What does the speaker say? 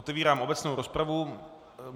Otevírám obecnou rozpravu.